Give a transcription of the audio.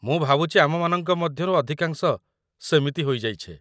ମୁଁ ଭାବୁଛି ଆମମାନଙ୍କ ମଧ୍ୟରୁ ଅଧିକାଂଶ ସେମିତି ହୋଇଯାଇଛେ।